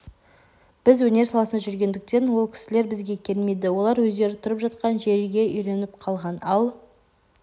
біз өнер саласында жүргендіктен ол кісілер бізге келмейді олар өздері тұрып жатқан жерге үйреніп қалған ал